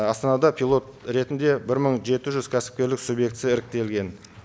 астанада пилот ретінде бір мың жеті жүз кәсіпкерлік субъектісі іріктелген